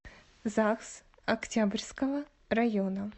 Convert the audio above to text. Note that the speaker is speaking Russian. загс октябрьского района